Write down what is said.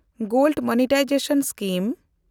gold monetisation scheme